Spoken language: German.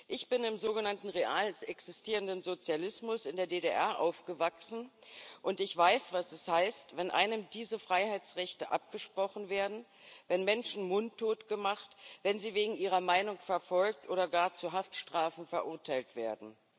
Ich bin im sogenannten real existierenden Sozialismus in der DDR aufgewachsen, und ich weiß, was es heißt, wenn einem diese Freiheitsrechte abgesprochen werden, wenn Menschen mundtot gemacht, wenn sie wegen ihrer Meinung verfolgt oder gar zu Haftstrafen verurteilt werden.